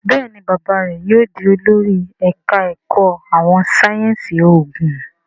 Béèni bàbá rẹ yóò dì olórí ẹka èkó àwọn sáyẹnsì oògùn.